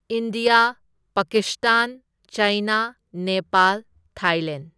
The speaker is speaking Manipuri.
India, Pakistan, China, Nepal, Thailand